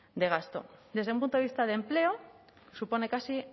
de gasto desde un punto de vista de empleo supone casi